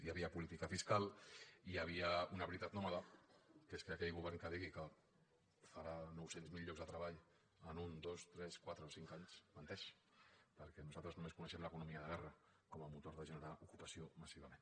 hi havia política fiscal hi havia una veritat nòmada que és que aquell govern que digui que farà nou cents miler llocs de treball en un dos tres quatre o cinc anys menteix perquè nosaltres només coneixem l’economia de guerra com a motor de generar ocupació massivament